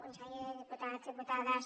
conseller diputats diputades